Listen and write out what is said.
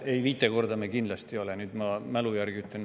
Ei, viis korda ei ole me seda kindlasti, ma mälu järgi ütlen.